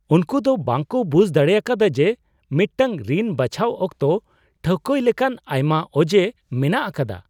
ᱩᱱᱠᱩ ᱫᱚ ᱵᱟᱝ ᱠᱚ ᱵᱩᱡ ᱫᱟᱲᱮ ᱟᱠᱟᱫᱟ ᱡᱮ ᱢᱤᱫᱴᱟᱝ ᱨᱤᱱ ᱵᱟᱪᱷᱟᱣ ᱚᱠᱛᱚ ᱴᱷᱟᱹᱣᱠᱟᱹᱭ ᱞᱮᱠᱟᱱ ᱟᱭᱢᱟ ᱚᱡᱮ ᱢᱮᱱᱟᱜ ᱟᱠᱟᱫᱟ !